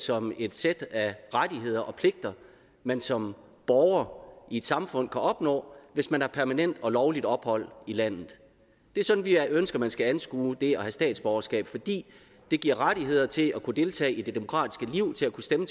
som et sæt af rettigheder og pligter man som borger i et samfund kan opnå hvis man har permanent og lovligt ophold i landet det er sådan vi ønsker man skal anskue det at have statsborgerskab fordi det giver rettigheder til at kunne deltage i det demokratiske liv til at kunne stemme